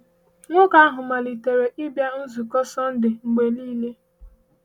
Nwoke ahụ malitere ịbịa nzukọ Sọndee mgbe niile.